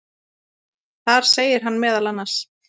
Þar segir hann meðal annars